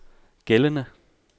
gældende